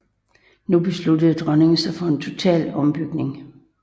Nu besluttede dronningen sig for en total ombygning